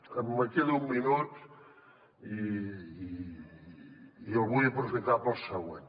em queda un minut i el vull aprofitar per al següent